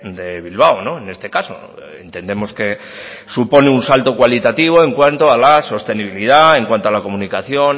de bilbao en este caso entendemos que supone un salto cualitativo en cuanto a la sostenibilidad en cuanto a la comunicación